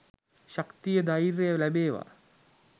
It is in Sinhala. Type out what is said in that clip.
ශක්තිය ධෛර්යය ලැබේවා